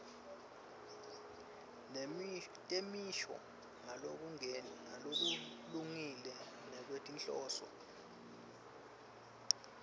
temisho ngalokulungile ngekwetinhloso